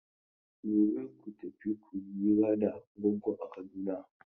Gobe ku tafi ku yi hira da Goggo a Kaduna!